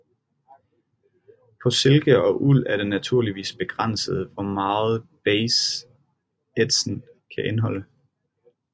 På silke og uld er det naturligvis begrænset hvor meget base ætsen kan indeholde